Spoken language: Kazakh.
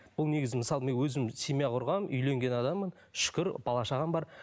ол негізі мысалы мен өзім семья құрғанмын үйленген адаммын шүкір бала шағам бар